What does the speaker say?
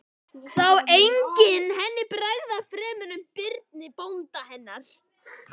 Sá enginn henni bregða fremur en Birni bónda hennar.